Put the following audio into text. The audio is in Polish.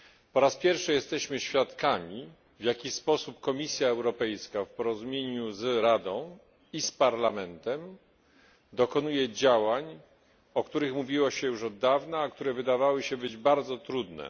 Po raz pierwszy jesteśmy świadkami, w jaki sposób Komisja Europejska w porozumieniu z Radą i z Parlamentem dokonuje działań, o których mówiło się już od dawna, a które wydawały się bardzo trudne.